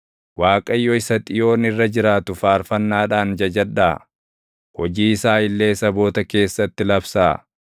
Waaqayyo isa Xiyoon irra jiraatu faarfannaadhaan jajadhaa; hojii isaa illee saboota keessatti labsaa.